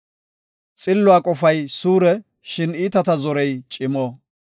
Xilluwa qofay suure; shin iitata zorey cimo.